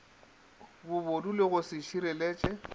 bobodu le go se šireletše